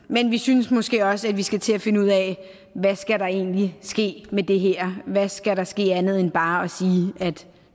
men vi synes måske også at vi skal til at finde ud af hvad der egentlig ske med det her hvad der skal ske andet end bare at sige at